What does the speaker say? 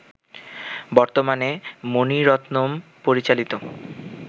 বর্তমানে মনি রত্নম পরিচালিত